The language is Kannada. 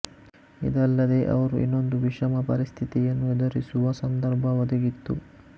ಇದಲ್ಲದೆ ಅವರು ಇನ್ನೊಂದು ವಿಷಮ ಪರಿಸ್ಥಿತಿಯನ್ನು ಎದುರಿಸುವ ಸಂದರ್ಭ ಒದಗಿತ್ತು